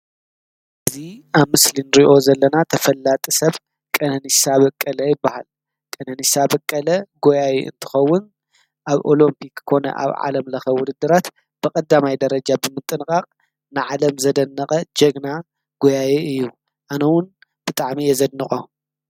እዚ አብ ምስሊ ንሪኦ ዘለና ተፈላጢ ሰብ ቀነኒሳ በቀለ ይበሃል ። ቀነኒሳ በቀለ ጎያዪ እንትኾን አብ ኦሎምፒክ ኮነ አብ ዓለም ለኸ ዉድድራት ብቀዳማይ ደረጃ ብምጥንቃቅ ንዓለም ዘደነቀ ጀግና ጎያዪ እዪ አነ ዉን ብጣዕሚ እየ ዘድንቆ !